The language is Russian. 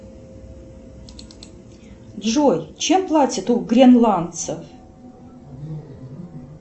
джой чем платят у гренландцев